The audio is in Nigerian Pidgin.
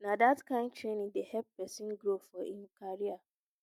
na dat kain training dey help pesin grow for im career